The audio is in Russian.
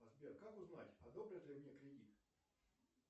сбер как узнать одобрят ли мне кредит